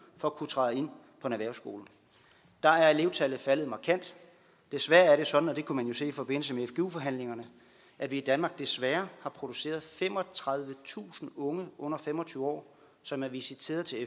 for at kunne træde ind på en erhvervsskole der er elevtallet faldet markant desværre er det sådan og det kunne man jo se i forbindelse med fgu forhandlingerne at vi i danmark desværre har produceret femogtredivetusind unge under fem og tyve år som er visiteret til